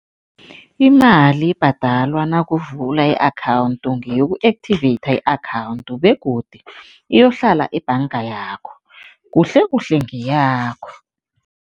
Imali ebhadalwa nakavula i-akhawundi ngeyoku-activate i-akhawundi begodu iyohlala ebhanga yakho, kuhlekuhle ngeyakho.